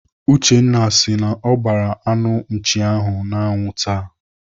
Uchenna si na ọ gbaara anụ nchi ahụ n'anwụ taa.